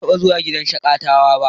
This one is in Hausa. Ban taɓa zuwa gidan shaƙatawa ba.